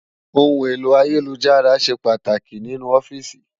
Óhún éló àyélújárà ṣé pàtáki ninú òfìsí